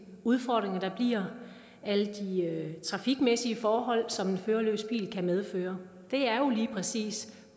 udfordringer der bliver alle de trafikmæssige forhold som en førerløs bil kan medføre det er jo lige præcis